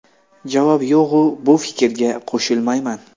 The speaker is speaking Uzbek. Javob: Yo‘q, bu fikrga qo‘shilmayman.